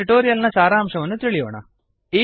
ಈಗ ಟ್ಯುಟೋರಿಯಲ್ ನ ಸಾರಾಂಶ ತಿಳಿಯೋಣ